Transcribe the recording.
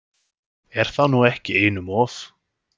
Er það nú ekki einum of?